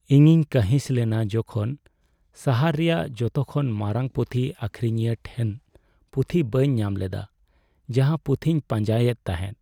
ᱤᱧᱤᱧ ᱠᱟᱺᱦᱤᱥ ᱞᱮᱱᱟ ᱡᱚᱠᱷᱚᱱ ᱥᱟᱦᱟᱨ ᱨᱮᱭᱟᱜ ᱡᱚᱛᱚ ᱠᱷᱚᱱ ᱢᱟᱨᱟᱝ ᱯᱩᱛᱷᱤ ᱟᱹᱠᱷᱨᱤᱧᱤᱭᱟᱹ ᱴᱷᱮᱱ ᱯᱩᱛᱷᱤ ᱵᱟᱹᱧ ᱧᱟᱢ ᱞᱮᱫᱟ ᱡᱟᱦᱟᱸ ᱯᱩᱛᱦᱤᱧ ᱯᱟᱸᱡᱟᱭᱮᱫ ᱛᱟᱦᱮᱸᱫ ᱾